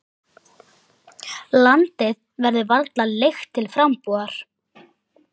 Landið verður varla leigt til frambúðar.